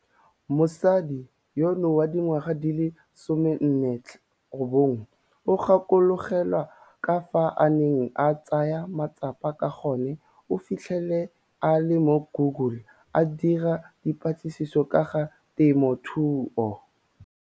Mosadi yono wa dingwaga di le 49 o gakologelwa ka fao a neng a tsaya matsapa ka gone o fitlhele a le mo Google a dira dipatlisiso ka ga temothuo.